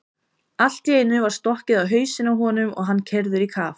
Allt í einu var stokkið á hausinn á honum og hann keyrður í kaf.